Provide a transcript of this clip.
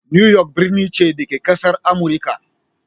New York birni ce, da ke a ƙasar Amurika.